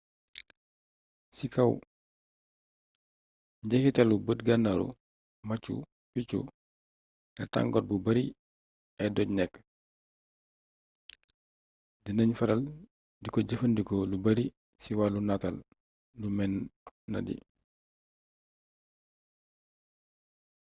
ci kaaw njeexitalu bët gannaru machu picchu la tangor bu bari ay doj nek di nagn faral diko jëfëndiko lu bari ci walu nataal lu mënadi